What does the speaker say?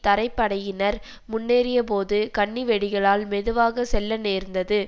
தரைப்படையினர் முன்னேறியபோது கண்ணிவெடிகளால் மெதுவாக செல்ல நேர்ந்தது